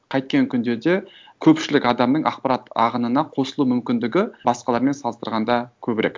қайткен күнде де көпшілік адамның ақпарат ағынына қосылу мүмкіндігі басқалармен салыстырғанда көбірек